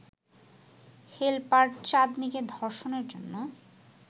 helper চাঁদনীকে ধর্ষণের জন্য